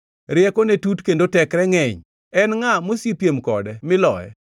Riekone tut kendo tekre ngʼeny. En ngʼa mosepiem kode miloye?